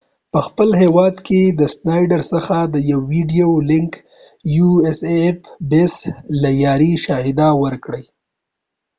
schneider په خپل هیواد کې د usaf base څخه د یو ویدیویې لنک له لیارې شاهدي ورکړه